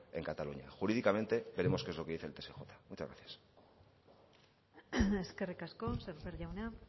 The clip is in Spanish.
en cataluña jurídicamente veremos qué es lo que dice el tsj muchas gracias eskerrik asko sémper jauna